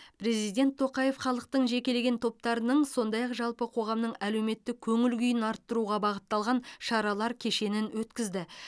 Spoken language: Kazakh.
президент тоқаев халықтың жекелеген топтарының сондай ақ жалпы қоғамның әлеуметтік көңіл күйін арттыруға бағытталған шаралар кешенін өткізді